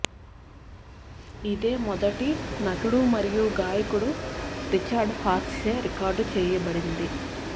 ఇది మొదటి నటుడు మరియు గాయకుడు రిచర్డ్ హారిస్చే రికార్డ్ చేయబడింది